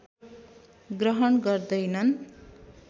ग्रहण गर्दैनन्